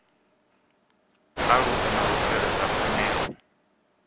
aluse na u tsireledza pfanelo